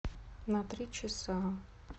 на три часа